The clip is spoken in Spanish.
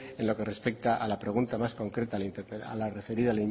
en lo que respecta a la pregunta más concreta a la referida